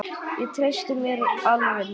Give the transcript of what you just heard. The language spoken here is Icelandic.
Ég treysti mér alveg núna!